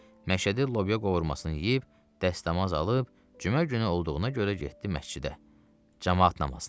Məşədi lobya qovurmasını yeyib, dəstəmaz alıb, cümə günü olduğuna görə getdi məscidə camaat namazına.